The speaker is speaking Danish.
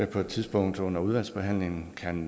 på et tidspunkt under udvalgsbehandlingen kan